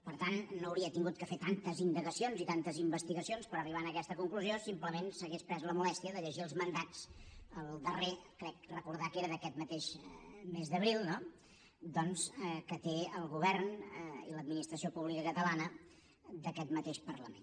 per tant no hauria hagut de fer tantes indagacions ni tantes investigacions per arribar a aquesta conclusió si simplement s’hagués pres la molèstia de llegir els mandats el darrer crec recordar que era d’aquest mateix mes d’abril que tenen el govern i l’administració pública catalana d’aquest mateix parlament